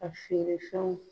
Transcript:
A feere fɛnw